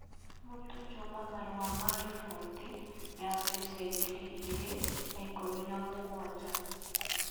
Mũtũ Juma marũa ma riboti ya mbeca ngiri igĩrĩ na ikũmi na mũgwanja